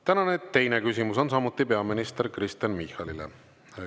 Tänane teine küsimus on samuti peaminister Kristen Michalile.